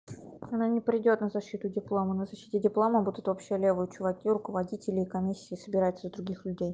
она не придёт на защиту диплома на защите диплома будут вообще левые чуваки руководители и комиссии собираются из других людей